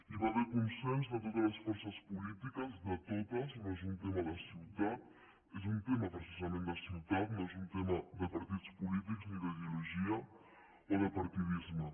hi va haver consens de totes les forces polítiques de totes no és un tema de ciutat és un tema precisament de ciutat no és un tema de partits polítics ni d’ideologia o de partidisme